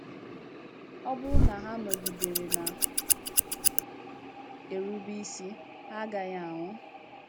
Ọ bụrụ́ na ha nọgidere na - erube isi, ha agaghị ànwú.